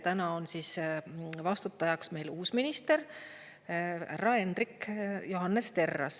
Täna on vastutajaks meil uus minister härra Hendrik Johannes Terras.